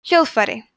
hljóðfæri